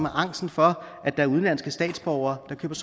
angsten for at der er udenlandske statsborgere der